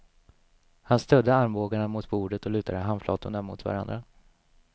Han stödde armbågarna mot bordet och lutade handflatorna mot varandra.